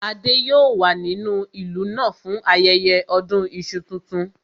Adé yòó wà nínú ìlú náà fún ayẹyẹ ọdún iṣu tuntun